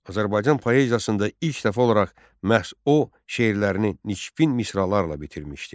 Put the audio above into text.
Azərbaycan poeziyasında ilk dəfə olaraq məhz o şeirlərini nişpin misralarla bitirmişdi.